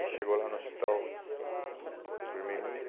Aí chegou lá no hospital vermelhinho.